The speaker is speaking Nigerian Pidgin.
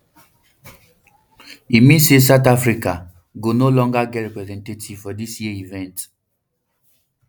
e mean say south africa go no longer get representative for dis year event